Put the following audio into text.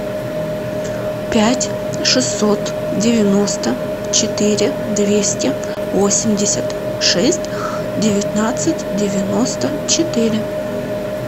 пять шестьсот девяносто четыре двести восемьдесят шесть девятнадцать девяносто четыре